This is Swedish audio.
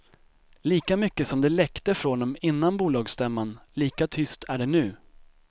Lika mycket som det läckte från dem innan bolagsstämman, lika tyst är det nu.